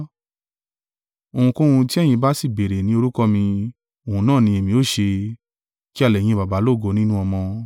Ohunkóhun tí ẹ̀yin bá sì béèrè ní orúkọ mi, òun náà ni èmi ó ṣe, kí a lè yin Baba lógo nínú Ọmọ.